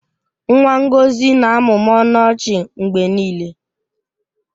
Nwa Ngọzi na-amụmụ ọnụ ọchị mgbe niile